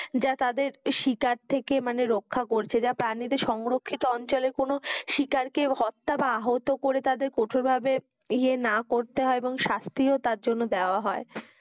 যা তাদের শিকার থেকে মানে রক্ষা করছে যা প্রাণীদের সংরক্ষিত অঞ্চলে কোনো শিকার কে হত্যা বা আহত করে তাদের কঠোর ভাবে এযে না করতে হয় এবং শাস্তিও তার জন্য দেওয়া হয়,